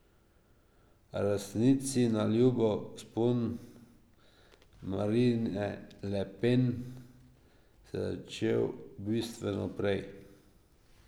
A resnici na ljubo, vzpon Marine Le Pen se je začel bistveno prej.